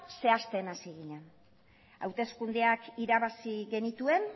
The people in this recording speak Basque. zehazten hasi ginen hauteskundeak irabazi genituen